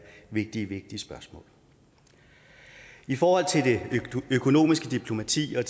vigtige vigtige spørgsmål i forhold til det økonomiske diplomati og